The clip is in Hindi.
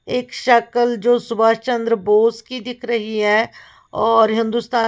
एक शक्ल जो सुभाष चंद्र बोस की दिख रही है और हिन्दुस्ता --